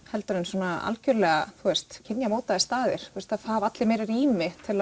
heldur en algjörlega staðir það hafa allir meiri rými til